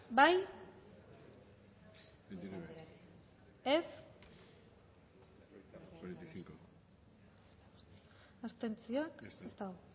bozkatu dezakegu bozketaren emaitza onako izan da hirurogeita hamalau eman dugu